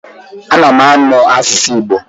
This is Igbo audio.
Ana m amụ asụsụ Igbo.